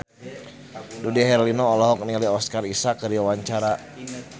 Dude Herlino olohok ningali Oscar Isaac keur diwawancara